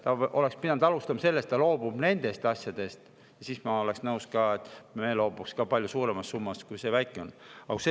Ta oleks pidanud alustama sellest, et ta loobub nendest asjadest, ja siis ma oleksin nõus, et me loobuks isegi palju suuremast summast, kui see väike on.